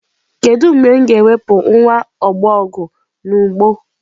Kedu mgbe m ga-ewepụ nwa ọbọgwụ n'ugbo?